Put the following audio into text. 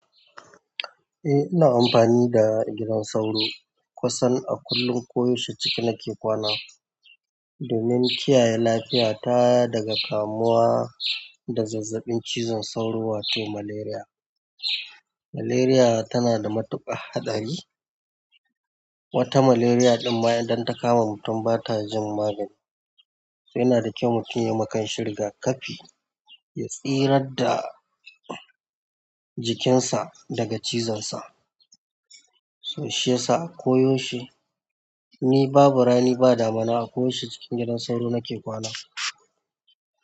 Eh, ina amfani da gidan sauro kusan a kullum ko yaushe ciki nake kwana domin kiyaye lafiyata daga kamuwa da zazzaɓin cizon sauro wato malaria. Malaria tana da matuƙar haɗari, wata malaria ɗin ma idan ta kama mutum ba ta jin magani. To yana da kyau mutum yama kanshi riga kafi ya tsirar da jikinsa daga cizon sa, so shiyasa koyaushe, ni babu rani ba damina a koyaushe cikin gidan sauro nake kwana.